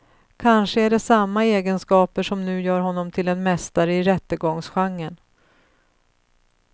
Kanske är det samma egenskaper som nu gör honom till en mästare i rättegångsgenren.